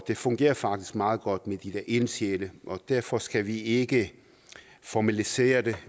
det fungerer faktisk meget godt med de der ildsjæle og derfor skal vi ikke formalisere det